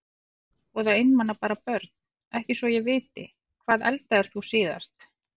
Voða einmana bara Börn: Ekki svo ég viti Hvað eldaðir þú síðast?